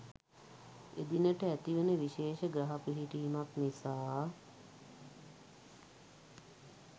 එදිනට ඇතිවන විශේෂ ග්‍රහ පිහිටීමක් නිසා